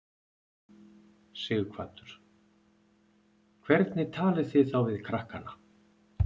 Sighvatur: Hvernig talið þið þá við krakkana?